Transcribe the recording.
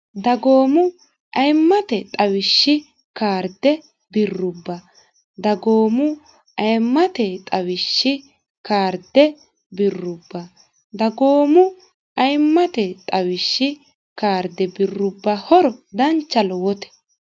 dagoomu ayimmate xawishshi kaarde birrubba dagoomu ayimmate xawishshi kaarde birrubba dagoomu ayimmate xawishshi kaarde birrubba horo dancha lowote